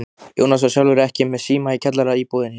Jónas var sjálfur ekki með síma í kjallaraíbúðinni.